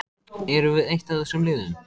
Erum við eitt af þessum liðum?